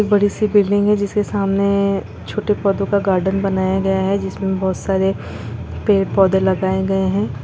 एक बड़ी सी बिल्डिंग है जिसके सामने छोटे पौधों का गार्डन बनाया गया है जिसमे बहुत सारे पेड़ पौधे लगाए गए है।